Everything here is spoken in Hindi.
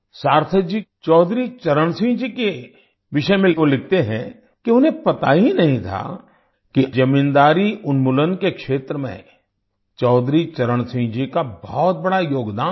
सार्थक जी चौधरी चरण सिंह जी के विषय में वो लिखते हैं कि उन्हें पता ही नहीं था कि जमींदारी उन्मूलन के क्षेत्र में चौधरी चरण सिंह जी का बहुत बड़ा योगदान था